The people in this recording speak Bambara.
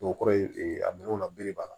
O kɔrɔ ye a minɛnw na bere banna